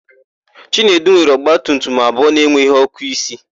Chinedu nwere ọgbatumtum abụọ na-enweghị ọ́kụ́isi.